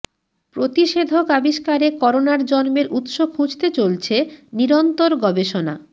প্রতিষেধক আবিষ্কারে করোনার জন্মের উৎস খুঁজতে চলছে নিরন্তর গবেষণা